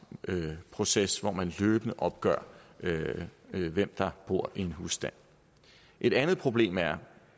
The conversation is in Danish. proces hvor man løbende opgør hvem der bor i en husstand et andet problem er